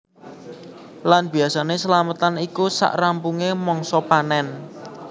Lan biasané slametan iku sak rampungé mangsa panen